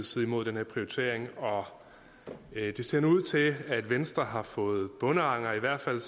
side mod den her prioritering og det ser nu ud til at venstre har fået bondeanger i hvert fald